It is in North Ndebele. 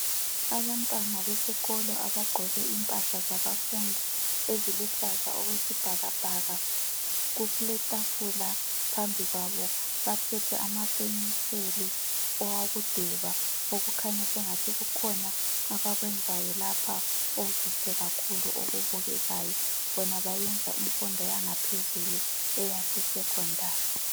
Abantwana besikolo abagqoke impahla zabafundi eziluhlaza okwesibhakabhaka, kuletafula phambi kwabo baphethe amapenseli okudweba kukhanya sengathi kukhona abakwenzayo lapha okuhle okubukekayo bona bayenza imfundo yaphezulu eyase sekhondari.